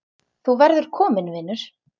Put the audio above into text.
Þú verður kominn vinur.